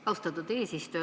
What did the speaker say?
Austatud eesistuja!